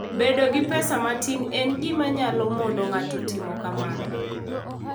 Bedo gi pesa matin en gima nyalo mono ng'ato timo kamano.